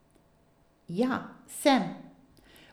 Ja, sem.